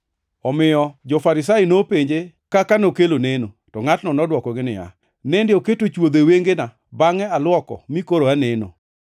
Omiyo jo-Farisai nopenje kaka nokelo neno. To ngʼatno nodwokogi niya, “Nende oketo chwodho e wengena, bangʼe aluoko mi koro aneno.”